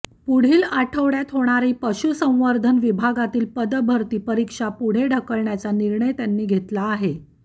पुढील आठवडय़ात होणारी पशुसंवर्धन विभागातील पदभरती परीक्षा पुढे ढकलण्याचा निर्णय त्यांनी घेतला आहे